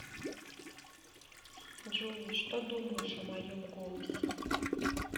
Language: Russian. джой что думаешь о моем голосе